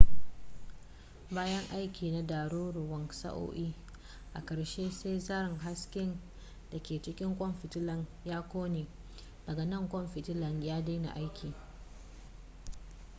bayan aiki na ɗaruruwan sa'o'i a ƙarshe sai zaren haske da ke cikin ƙwan fitilar ya ƙone daga nan ƙwan fitilar ya daina aiki